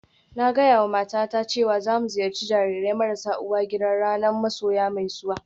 Na gaya wa matata cewa za mu ziyarci jarirai marasa uwa gida ranar masoya mai zuwa